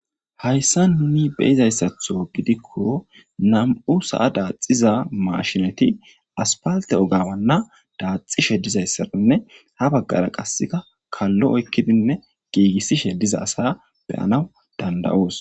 Hayssa nuni beizayssatho gidikko nam7u sa7a daaxiza mashinati aspalte ogawanna daaxishe dizayssarinne ha baggara qasseka kallo oykkidinne giigissishe diza asa beyanaw dandayoos.